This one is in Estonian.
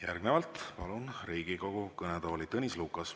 Järgnevalt palun Riigikogu kõnetooli Tõnis Lukase.